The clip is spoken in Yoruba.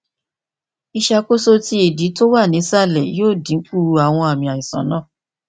iṣakoso ti idi ti o wa ni isalẹ yoo dinku awọn aami aisan naa